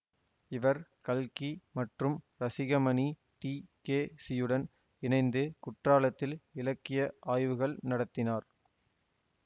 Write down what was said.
இவர் கல்கி மற்றும் ரசிகமணி டிகேசியுடன் இணைந்து குற்றாலத்தில் இலக்கிய ஆய்வுகள் நடத்தினார்